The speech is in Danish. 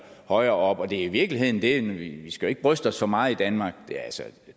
højere op og det er i virkeligheden det vi skal jo ikke bryste os så meget i danmark altså